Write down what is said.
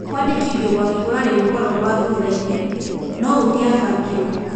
Kũandĩkithio gwake kũrarĩ gũkorwo gwa thuthainĩ, No-gutiabangirwo.